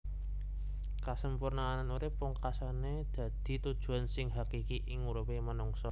Kasampurnan urip pungkasané dadi tujuan sing hakiki ing uripé manungsa